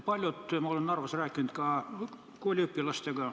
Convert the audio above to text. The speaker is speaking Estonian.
Ma olen Narvas rääkinud ka kooliõpilastega.